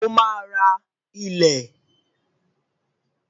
Ó máa ra ilé